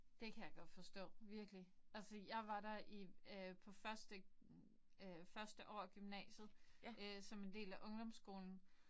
Det kan jeg godt forstå virkelig. Altså jeg var der i øh på første øh første år af gymnasiet som en del af ungdomsskolen